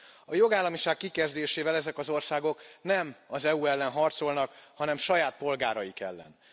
A jogállamiság kikezdésével ezek az országok nem az EU ellen harcolnak, hanem saját polgáraik ellen.